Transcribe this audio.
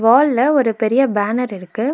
வால்ல ஒரு பெரிய பேனர் இருக்கு.